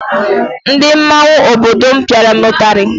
Ndị mmọnwụ obodo m pịara m ụtarị